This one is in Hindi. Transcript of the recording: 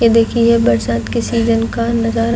ये देखिये ये बरसात के सीजन का नज़ारा --